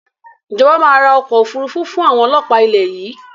Ìjọba máa ra ọkọ̀ Òfúrufú fun àwọn ọlọ́pa ilẹ̀ yìí